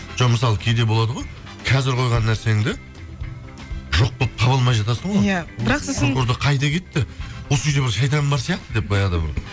жоқ мысалы кейде болады ғой қазір қойған нәрсеңді жоқ болып таба алмай жатасың ғой иә қайда кетті осы үйде бір шайтан бар сияқты деп баяғыда бір